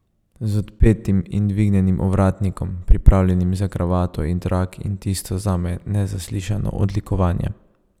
Z odpetim in dvignjenim ovratnikom, pripravljenim za kravato in trak in tisto zame nezaslišano odlikovanje.